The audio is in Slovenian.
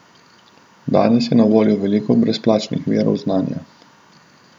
Danes je na voljo veliko brezplačnih virov znanja.